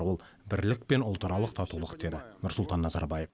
ол бірлік пен ұлтаралық татулық деді нұрсұлтан назарбаев